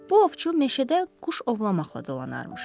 Bu ovçu meşədə quş ovlamaqla dolanarmış.